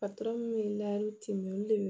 bɛ olu de